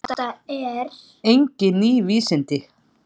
Þetta eru engin ný vísindi.